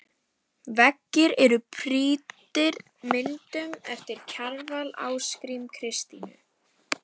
Veggir eru prýddir myndum eftir Kjarval, Ásgrím, Kristínu